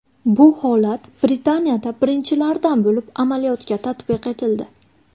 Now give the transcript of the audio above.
Bu holat Britaniyada birinchilardan bo‘lib amaliyotga tatbiq etildi.